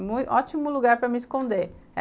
É um ótimo lugar para me esconder.